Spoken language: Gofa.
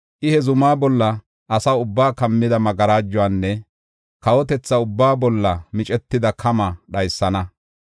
I ha zumaa bolla asa ubbaa kammida magarajuwanne kawotetha ubbaa bolla micetida kamaa dhaysana.